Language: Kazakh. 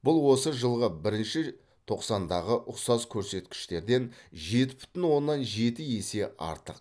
бұл осы жылғы бірінші тоқсандағы ұқсас көрсеткіштерден жеті бүтін оннан жеті есе артық